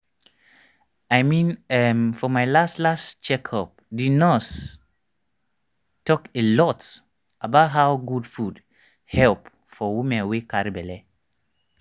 i mean[um]for my last last check up the nurse talk a lot about how good food help for woman wey carry belle